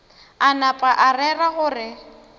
a napa a rera gore